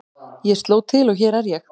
Ég sló til og hér er ég.